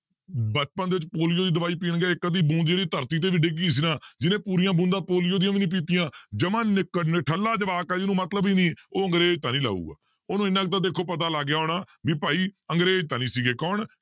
ਬਚਪਨ ਦੇ ਵਿੱਚ ਪੋਲੀਓ ਦੀ ਦਵਾਈ ਪੀਣਗੇ ਇੱਕ ਅੱਧੀ ਬੂੰਦ ਜਿਹੜੀ ਧਰਤੀ ਤੇ ਵੀ ਡਿੱਗ ਗਈ ਸੀ ਨਾ ਜਿਹਨੇ ਪੂਰੀਆਂ ਬੂੰਦਾਂ ਪੋਲੀਓ ਦੀਆਂ ਵੀ ਨੀ ਪੀਤੀਆਂ ਜਮਾਂ ਨਿਕ~ ਨਿਠੱਲਾ ਜਵਾਕ ਹੈ ਜਿਹਨੂੰ ਮਤਲਬ ਹੀ ਨੀ ਉਹ ਅੰਗਰੇਜ਼ ਤਾਂ ਨੀ ਲਾਊਗਾ ਉਹਨੂੰ ਇੰਨਾ ਕੁ ਤਾਂ ਦੇਖੋ ਪਤਾ ਲੱਗ ਗਿਆ ਹੋਣਾ ਵੀ ਭਾਈ ਅੰਗਰੇਜ਼ ਤਾਂ ਨੀ ਸੀਗੇ ਕੌਣ